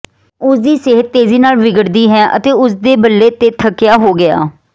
ਉਸ ਦੀ ਸਿਹਤ ਤੇਜ਼ੀ ਨਾਲ ਵਿਗੜਦੀ ਹੈ ਅਤੇ ਉਸ ਨੇ ਬੱਲੇ ਤੇ ਥੱਕਿਆ ਹੋ ਗਿਆ